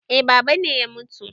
Eh babana ne ya mutu